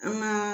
An ka